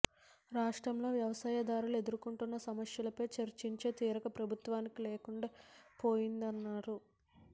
రాష్ట్రంలో వ్యవసాయదారులు ఎదుర్కొంటున్న సమస్యలపై చర్చించే తీరిక ప్రభుత్వానికి లేకుండా పోయిందన్నారు